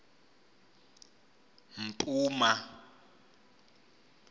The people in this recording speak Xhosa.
mpuma